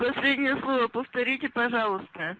последнее слово повторите пожалуйста